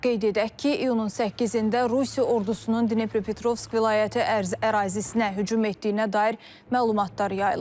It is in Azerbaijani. Qeyd edək ki, iyunun 8-də Rusiya ordusunun Dnepropetrovsk vilayəti ərazisinə hücum etdiyinə dair məlumatlar yayılıb.